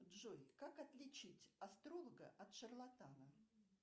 джой как отличить астролога от шарлатана